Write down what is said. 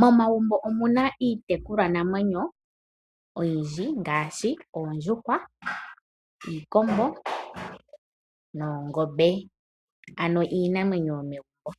Momagumbo omuna itekulwa namwenyo oyindji ngaashi oondjuhwa, iikombo noongombe ano iinamwenyo yomegumbo.